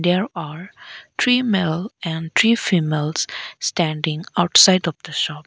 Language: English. there are three male and three females standing outside of the shop.